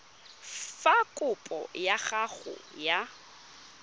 fa kopo ya gago ya